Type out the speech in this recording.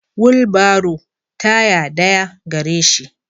Wulbaro taya daya gareshi.